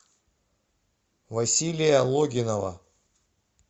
василия логинова